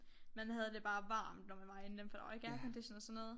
Man havde det bare varmt når man var inde i dem for der var ikke aircondition og sådan noget